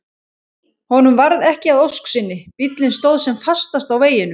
Honum varð ekki að ósk sinni, bíllinn stóð sem fastast á veginum.